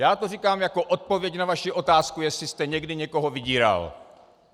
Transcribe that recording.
Já to říkám jako odpověď na vaši otázku, jestli jste někdy někoho vydíral.